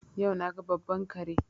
Yau na ga babban kare.